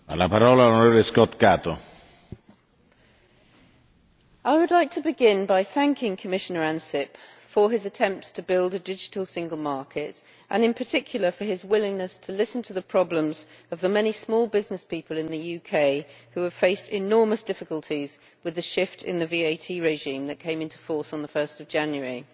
Mr President, I would like to begin by thanking Commissioner Ansip for his attempts to build a digital single market, and in particular for his willingness to listen to the problems of the many small business people in the UK who have faced enormous difficulties with the shift in the VAT regime that came into force on 1 January.